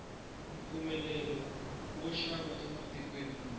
mpfumelelo wo xava ematikweni mambe